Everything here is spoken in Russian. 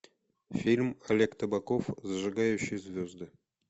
фильм олег табаков зажигающий звезды